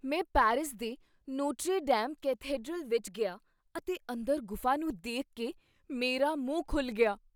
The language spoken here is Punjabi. ਮੈਂ ਪੈਰਿਸ ਦੇ ਨੋਟਰੇ ਡੇਮ ਕੈਥੇਡ੍ਰਲ ਵਿੱਚ ਗਿਆ, ਅਤੇ ਅੰਦਰ ਗੁਫਾ ਨੂੰ ਦੇਖ ਕੇ ਮੇਰਾ ਮੂੰਹ ਖੁੱਲ੍ਹ ਗਿਆ।